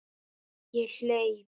Ég hleyp.